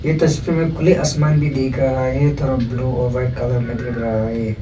ये तस्वीर में खुले आसमान भी दिख रहा है थोड़ा ब्लू और वाइट कलर में दिख रहा है।